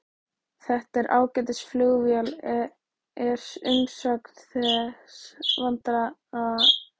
Þetta er ágætis flugvél er umsögn þessa vandaða embættismanns.